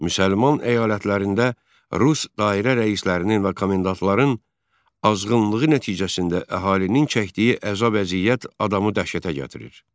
Müsəlman əyalətlərində rus dairə rəislərinin və komendantların azğınlığı nəticəsində əhalinin çəkdiyi əzab-əziyyət adamı dəhşətə gətirir.